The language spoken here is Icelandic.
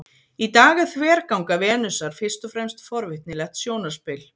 í dag er þverganga venusar fyrst og fremst forvitnilegt sjónarspil